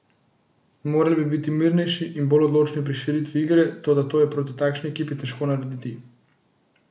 Morali bi biti mirnejši in bolj odločni pri širitvi igre, toda to je proti takšni ekipi težko narediti.